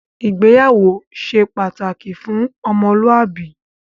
Ìgbéyàwó ṣe pàtàkì fún ọmọlúàbí